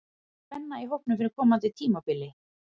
Er mikil spenna í hópnum fyrir komandi tímabili?